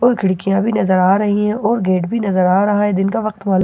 और खिड़कियां भी नजर आ रही है और गेट भी नजर आ रहा है दिन का वक्त मालूम--